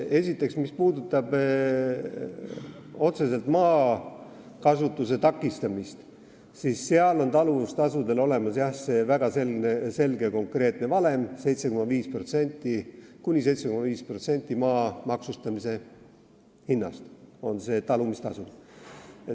Esiteks, mis puudutab otseselt maakasutuse takistamist, siis seal on taluvustasudel olemas, jah, väga selline selge ja konkreetne valem – kuni 7,5% maa maksustamise hinnast on see talumistasu.